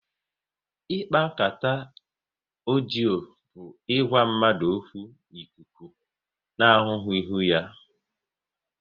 Ikpa nkata ọdio bụ ịgwa mmadụ okwu n'ikuku na ahụghị ihu ha